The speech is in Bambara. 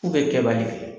K'u bɛ kɛbali kɛ